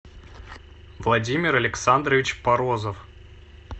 владимир александрович морозов